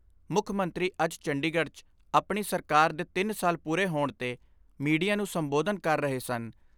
ਮੁੱਖ ਮੰਤਰੀ ਅੱਜ ਚੰਡੀਗੜ੍ਹ 'ਚ ਆਪਣੀ ਸਰਕਾਰ ਦੇ ਤਿੰਨ ਸਾਲ ਪੂਰੇ ਹੋਣ 'ਤੇ ਮੀਡੀਆ ਨੂੰ ਸੰਬੋਧਨ ਕਰ ਰਹੇ ਸਨ।